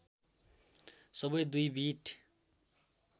सबै दुई बिट